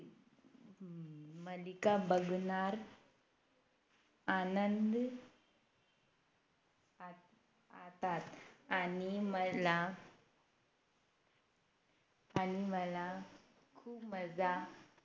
मालिका बघणार आनंद आणतात आणि मला आणि मला खूप मजा